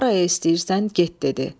Haraya istəyirsən get dedi.